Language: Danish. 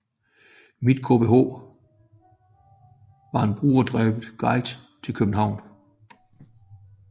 mitKBH var en brugerdrevet guide til København